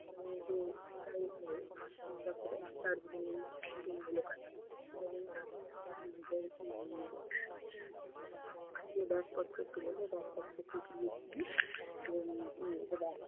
উম তো আমরা দার্জিলিং সবাই নিজেদের উম আগে bag পত্র তুলে দেই। bag পত্র